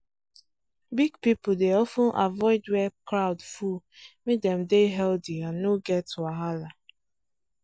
big people dey of ten avoid where crowd full make dem dey healthy and no get wahala.